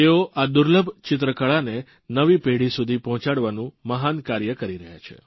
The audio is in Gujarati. તેઓ આ દુર્લભ ચિત્રકળાને નવી પેઢી સુધી પહોંચાડવાનું મહાન કાર્ય કરી રહ્યા છે